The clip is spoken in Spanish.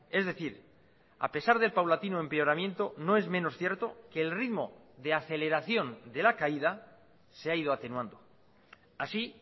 es decir a pesar del paulatino empeoramiento no es menos cierto que el ritmo de aceleración de la caída se ha ido atenuando así